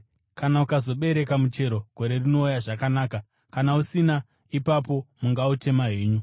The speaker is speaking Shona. Kana ukazobereka muchero gore rinouya, zvakanaka! Kana usina, ipapo mungautema henyu.’ ”